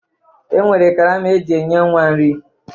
E nwere karama eji enye nwa nri